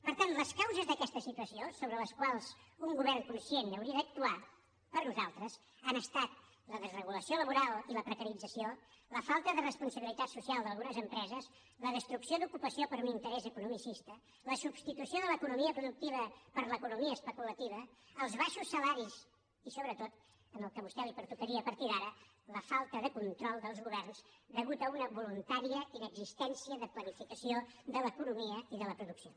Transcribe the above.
per tant les causes d’aquesta situació sobre les quals un govern conscient hauria d’actuar per a nosaltres han estat la desregulació laboral i la precarització la falta de responsabilitat social d’algunes empreses la destrucció d’ocupació per un interès economicista la substitució de l’economia productiva per l’economia especulativa els baixos salaris i sobretot en el que a vostè li pertocaria a partir d’ara la falta de control dels governs a causa d’una voluntària inexistència de planificació de l’economia i de la producció